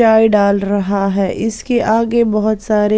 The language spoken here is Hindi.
चाई डाल रहा है इसके आगे बहुत सारे--